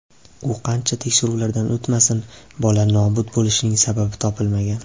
U qancha tekshiruvlardan o‘tmasin, bola nobud bo‘lishining sababi topilmagan.